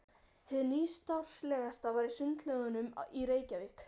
Hið nýstárlegasta var í Sundlaugunum í Reykjavík.